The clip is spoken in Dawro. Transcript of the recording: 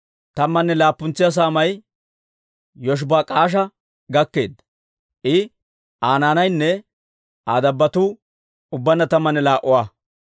Tammanne laappuntsa saamay Yoshibak'aasha gakkeedda; I, Aa naanaynne Aa dabbotuu ubbaanna tammanne laa"a.